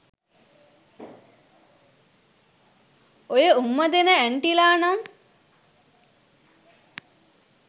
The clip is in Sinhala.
ඔය උම්මා දෙන ඇන්ටිලා නම්